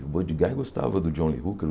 O Buddy Guy gostava do John Lee Hooker.